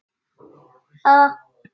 Og kyrrðin algjör.